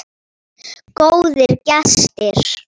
Góðir gestir.